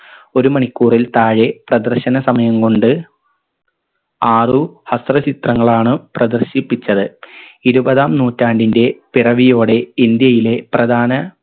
ഒരു മണിക്കൂറിൽ താഴെ പ്രദർശന സമയം കൊണ്ട് ആറു ഹസ്ര ചിത്രങ്ങളാണ് പ്രദർശിപ്പിച്ചത് ഇരുപതാം നൂറ്റാണ്ടിൻറെ പിറവിയോടെ ഇന്ത്യയിലെ പ്രധാന